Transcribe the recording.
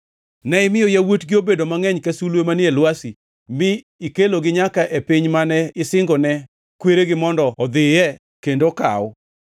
Ne imiyo yawuotgi obedo mangʼeny ka sulwe manie lwasi, mi ikelogi nyaka e piny mane isingone kweregi mondo odhiye kendo okaw.